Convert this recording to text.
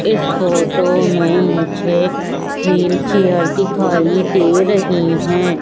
इस फोटो में मुझे व्हील चेयर दिखाई दे रही है।